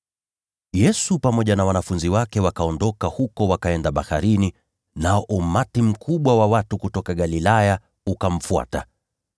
Yesu pamoja na wanafunzi wake wakaondoka huko wakaenda baharini, nao umati mkubwa wa watu kutoka Galilaya ukamfuata.